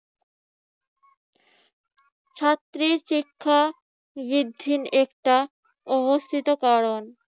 ছাত্রী শিক্ষা বৃদ্ধির একটা অবস্থিত কারণ।